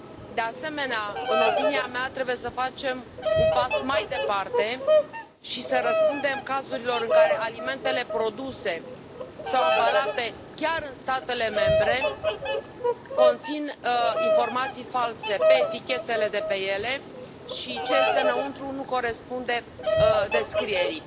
De asemenea, în opinia mea, trebuie să facem un pas mai departe și să răspundem cazurilor în care alimentele produse sau ambalate chiar în statele membre conțin informații false pe etichetele de pe ele și ceea ce este înăuntru nu corespunde descrierii.